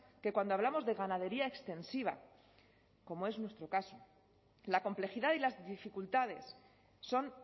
que cuando hablamos de ganadería extensiva como es nuestro caso la complejidad y las dificultades son